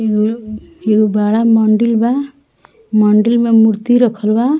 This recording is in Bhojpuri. एगो बड़ा मंदील बा मंदील में मूर्ति रखल बा।